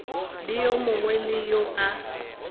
le yo mongwe yo a